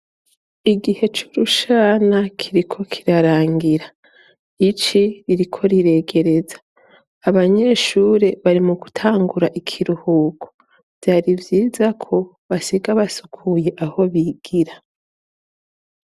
Igihe cy'urushana kiriko kirarangira, ici ririko riregereza. Abanyeshure bari mu gutangura ikiruhuko vyari vyiza ko basiga basukuye aho bigira.